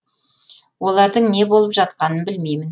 олардың не болып жатқанын білмеймін